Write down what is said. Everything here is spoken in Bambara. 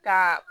Ka